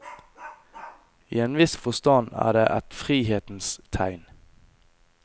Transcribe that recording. I en viss forstand er det et frihetens tegn.